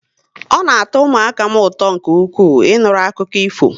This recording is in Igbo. Ọ na atọ ụmụaka m ụtọ nke ukwuu, Ị nụrụ akụkọ ifo